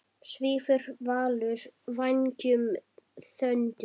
Svífur Valur vængjum þöndum?